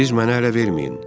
Siz mənə ələ verməyin.